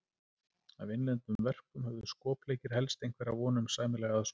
Af innlendum verkum höfðu skopleikir helst einhverja von um sæmilega aðsókn.